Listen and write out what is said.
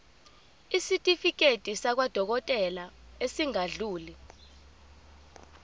isitifiketi sakwadokodela esingadluli